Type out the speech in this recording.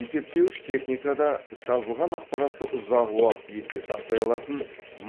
есептеуіш техникада жазылған ақпаратты ұзақ уақыт есте сақтай алатын